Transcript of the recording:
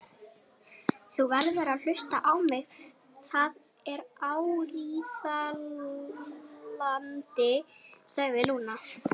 Þú verður að hlusta á mig, það er áríðandi, sagði Lúna.